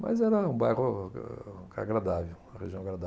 Mas era um bairro a agradável, uma região